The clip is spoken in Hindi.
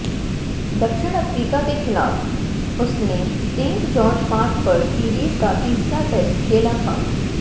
दक्षिण अफ्रीका के खिलाफ उसने सेंट जॉर्ज पार्क पर सीरीज का तीसरा टेस्ट खेला था